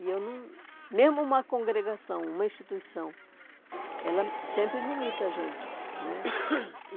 E eu não... Mesmo uma congregação, uma instituição, ela sempre limita a gente, né?